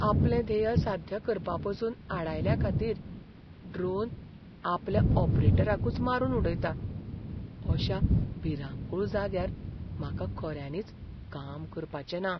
आपलें ध्येय साध्य करपापसून आडायल्याखातीर ड्रोन आपल्या ऑपरेटराकच मारून उडयता अशा भिरांकूळ जाग्यार म्हाका खऱ्यांनीच काम करपाचें ना.